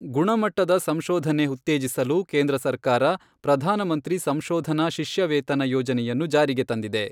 ಗುಣಮಟ್ಟದ ಸಂಶೋಧನೆ ಉ್ತತೇಜಿಸಲು ಕೇಂದ್ರ ಸರ್ಕಾರ, ಪ್ರಧಾನ ಮಂತ್ರಿ ಸಂಶೋಧನಾ ಶಿಷ್ಯವೇತನ ಯೋಜನೆಯನ್ನು ಜಾರಿಗೆ ತಂದಿದೆ.